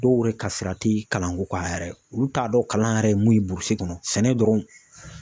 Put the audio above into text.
Dɔw yɛrɛ ka sira ti kalanko kan a yɛrɛ, olu t'a dɔn kalan yɛrɛ ye mun ye burusi kɔnɔ sɛnɛ dɔrɔn.